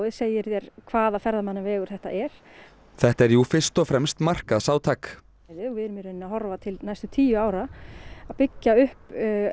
segir þér hvaða ferðamannavegur þetta er þetta er jú fyrst og fremst markaðsátak við erum í raun að horfa til næstu tíu ára að byggja upp